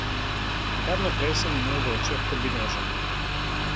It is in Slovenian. Kar naprej sem imel v očeh kombinežo.